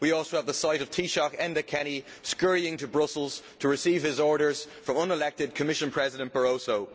We also have the sight of Taoiseach Enda Kenny scurrying to Brussels to receive his orders from unelected Commission President Barroso.